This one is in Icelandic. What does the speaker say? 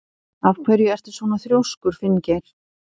Af hverju ertu svona þrjóskur, Finngeir?